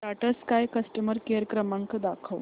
Tata Sky customer care क्रमांक दाखवा